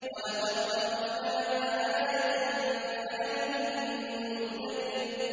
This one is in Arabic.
وَلَقَد تَّرَكْنَاهَا آيَةً فَهَلْ مِن مُّدَّكِرٍ